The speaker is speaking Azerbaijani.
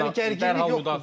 Yəni gərginlik yoxdur.